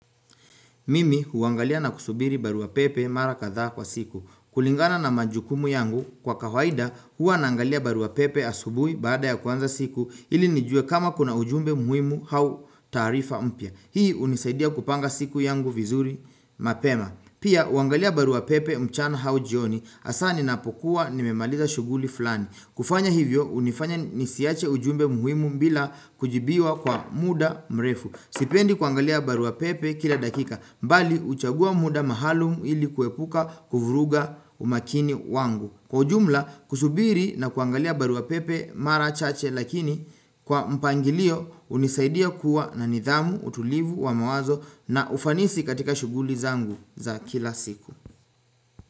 Mimi huangalia na kusubiri barua pepe mara kadhaa kwa siku. Kulingana na majukumu yangu kwa kawaida huwa naangalia barua pepe asubuhi baada ya kuanza siku ili nijue kama kuna ujumbe muhimu hau taarifa mpya. Hii unisaidia kupanga siku yangu vizuri mapema. Pia uangalia barua pepe mchana hau jioni asa ninapokuwa nimemaliza shughuli flani. Kufanya hivyo unifanya nisiache ujumbe muhimu mbila kujibiwa kwa muda mrefu. Sipendi kuangalia barua pepe kila dakika, mbali uchagua muda mahalumu ili kuepuka kuvuruga umakini wangu. Kwa ujumla, kusubiri na kuangalia barua pepe mara chache lakini kwa mpangilio unisaidia kuwa na nidhamu utulivu wa mawazo na ufanisi katika shughuli zangu za kila siku.